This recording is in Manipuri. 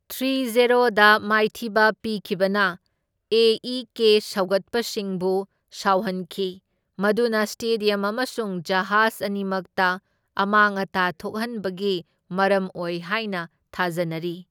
ꯊ꯭ꯔꯤ ꯓꯦꯔꯣꯗ ꯃꯥꯏꯊꯤꯕ ꯄꯤꯈꯤꯕꯅ ꯑꯦ꯬ ꯏ꯬ ꯀꯦ꯬ ꯁꯧꯒꯠꯄꯁꯤꯡꯕꯨ ꯁꯥꯎꯍꯟꯈꯤ, ꯃꯗꯨꯅ ꯁ꯭ꯇꯦꯗ꯭ꯌꯝ ꯑꯃꯁꯨꯡ ꯖꯍꯥꯖ ꯑꯅꯤꯃꯛꯇ ꯑꯃꯥꯡ ꯑꯇꯥ ꯊꯣꯛꯍꯟꯕꯒꯤ ꯃꯔꯝ ꯑꯣꯏ ꯍꯥꯢꯅ ꯊꯥꯖꯅꯔꯤ꯫